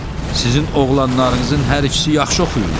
Sizin oğlanlarınızın hər ikisi yaxşı oxuyurlar.